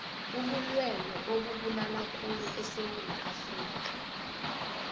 ubilwelwe obubulalakhulu esewula afrikha